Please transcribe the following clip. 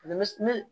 ne